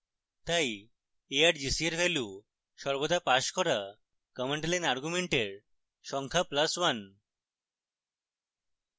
তাই argc এর value সর্বদা পাস করা command line arguments সংখ্যা plus এক